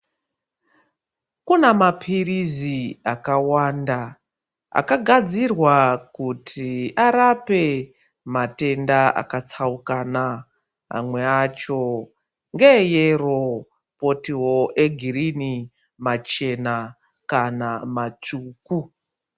Kuna maphirizi akawanda akagadzirwa kuti arape matenda akatsaukana amwe acho ngeeyero kwotiwo egirini kana machena kana matsvuku.